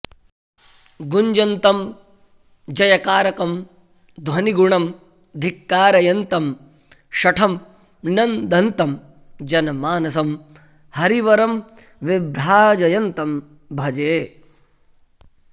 गुञ्जन्तं जयकारकं ध्वनिगुणं धिक्कारयन्तं शठं नन्दन्तं जनमानसं हरिवरं विभ्राजयन्तं भजे